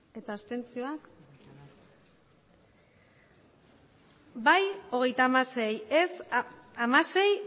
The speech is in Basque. hirurogeita hamairu bai hogeita hamasei ez hamasei